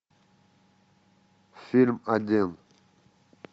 фильм один